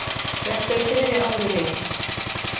Þetta er þriðja árið mitt.